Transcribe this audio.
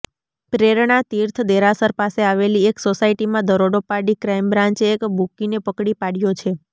પ્રેરણાતીર્થ દેરાસર પાસે આવેલી એક સોસાયટીમાં દરોડો પાડી ક્રાઈમ બ્રાન્ચે એક બૂકીને પકડી પાડ્યો છે